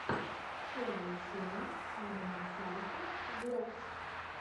первая серия адама салеха влогс